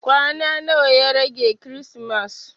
Kwana nawa ya rage kirismas?